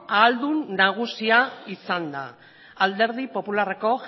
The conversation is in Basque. ahaldun nagusia izan da alderdi popularreko